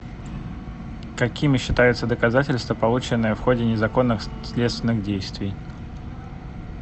какими считаются доказательства полученные в ходе незаконных следственных действий